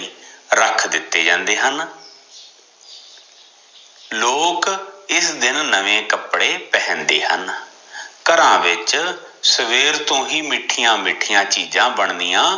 ਰਖ ਦਿੱਤੇ ਜਾਂਦੇ ਹਨ ਲੋਕ ਇਸ ਦਿਨ ਨਵੇਂ ਕਪੜੇ ਪਹਿਨਦੇ ਹਨ, ਘਰਾਂ ਵਿਚ ਸਵੇਰ ਤੋ ਹੀ ਮਿਠਿਆ ਮਿਠਿਆ ਚੀਜ਼ਾ ਬਣਨੀਆ